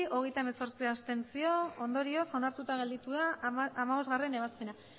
abstentzioak hogeita hemezortzi ondorioz onartuta gelditu da hamabostgarrena ebazpena